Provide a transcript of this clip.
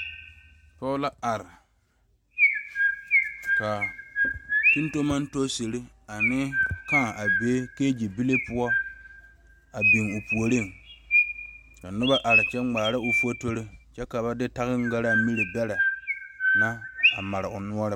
pɔge la are ka komie ane kaa a be kege bile poɔ biŋ o puoriŋ ka noba are kyɛ ŋmaara o fotori kyɛ ka ba de gangare miri beɛre na a mare o noɔre